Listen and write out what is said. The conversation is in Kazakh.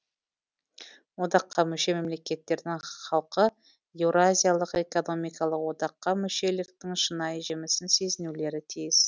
одаққа мүше мемлекеттердің халқы еуразиялық экономикалық одаққа мүшеліктің шынайы жемісін сезінулері тиіс